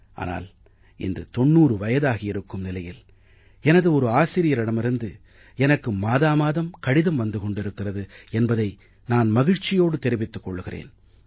ஆனால் இன்று 90 வயதாகியிருக்கும் நிலையில் எனது ஒரு ஆசிரியரிடமிருந்து எனக்கு மாதா மாதம் கடிதம் வந்து கொண்டிருக்கிறது என்பதை நான் மகிழ்ச்சியோடு தெரிவித்துக் கொள்கிறேன்